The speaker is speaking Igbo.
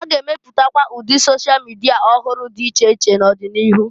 A ga-emepụtakwa ụdị sosha mịdịa ọhụrụ dị iche iche n'ọdị n'iru.